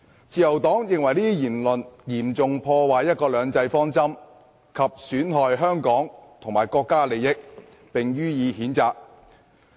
"自由黨認為這些言論嚴重破壞"一國兩制"方針及損害香港及國家的利益，並且予以譴責。